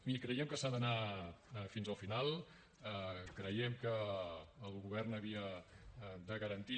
miri creiem que s’ha d’anar fins al final creiem que el govern havia de garantir